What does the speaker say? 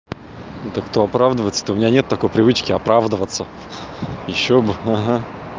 да кто оправдывается то у меня нет такой привычки оправдываться ещё бы ага